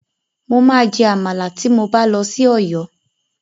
Mo máa jẹ àmàlà tí mo bá lọ sí Ọ̀yọ́.